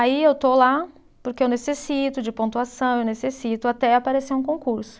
Aí eu estou lá porque eu necessito de pontuação, eu necessito até aparecer um concurso.